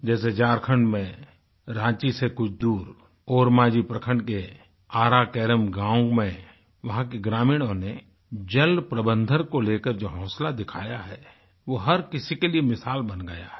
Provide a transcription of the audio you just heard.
जैसे झारखण्ड में रांची से कुछ दूर ओरमांझी प्रखण्ड के आरा केरम गाँव में वहाँ के ग्रामीणों ने जल प्रबंधन को लेकर जो हौंसला दिखाया है वो हर किसी के लिए मिसाल बन गया है